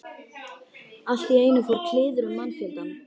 Allt í einu fór kliður um mannfjöldann.